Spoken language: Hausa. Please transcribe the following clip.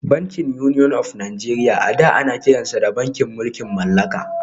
Bankin Union of Nigeria a da ana kiransa da bankin mulkin mallaka